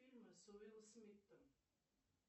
фильмы с уиллом смитом